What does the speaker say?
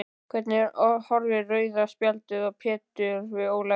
Hvernig horfði rauða spjaldið á Pétur við Ólafi?